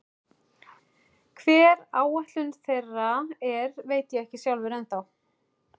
Hver áætlun þeirra er veit ég ekki sjálfur ennþá.